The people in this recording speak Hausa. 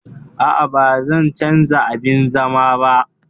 Aa, Bazan canza abin zaman ba